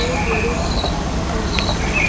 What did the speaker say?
दो जोड़े की शादी हो रही है।